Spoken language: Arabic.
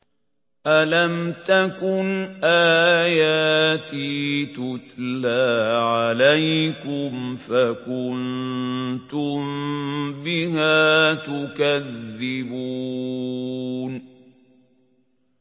أَلَمْ تَكُنْ آيَاتِي تُتْلَىٰ عَلَيْكُمْ فَكُنتُم بِهَا تُكَذِّبُونَ